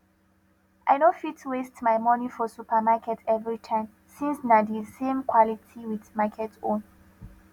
i no fit waste my money for supermarket everytime since na de same quality with market own